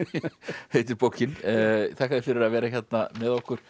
heitir bókin þakka þér fyrir að vera hérna með okkur